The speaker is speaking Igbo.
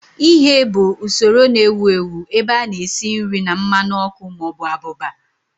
Ighe bụ usoro na-ewu ewu ebe a na-esi nri na mmanụ ọkụ ma ọ bụ abụba